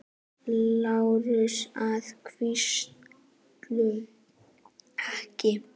LÁRUS: Að vísu ekki.